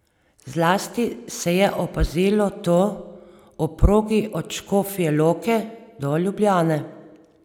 Zlasti se je opazilo to ob progi od Škofje Loke do Ljubljane.